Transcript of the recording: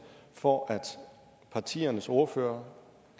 for at partiernes ordførere